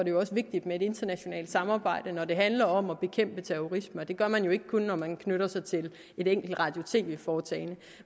jo også vigtigt med et internationalt samarbejde når det handler om terrorisme og det gør man jo ikke kun når man knytter sig til et enkelt radio og tv foretagende